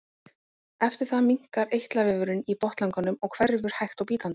Eftir það minnkar eitlavefurinn í botnlanganum og hverfur hægt og bítandi.